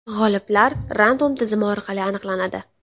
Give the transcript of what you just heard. G‘oliblar Random tizimi orqali aniqlanadi.